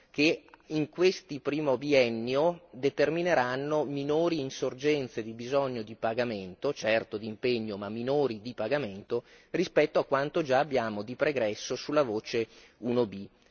che in questo primo biennio determineranno minori insorgenze di bisogno di pagamento, certo di impegno ma minori di pagamento, rispetto a quanto già abbiamo di pregresso sulla voce 1B.